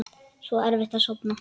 Svo erfitt að sofna.